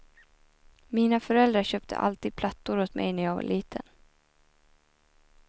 Mina föräldrar köpte alltid plattor åt mig när jag var liten.